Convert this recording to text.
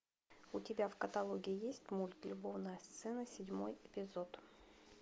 у тебя в каталоге есть мульт любовная сцена седьмой эпизод